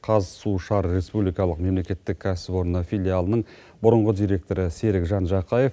қазсушар республикалық мемлекеттік кәсіпорны филиалының бұрыңғы директоры серікжан жақаев